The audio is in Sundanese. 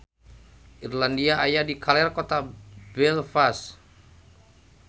Irlandia aya di kaler kota Belfast